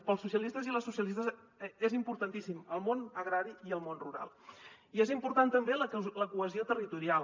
per als socialistes i les socialistes és importantíssim el món agrari i el món rural i és important també la cohesió territorial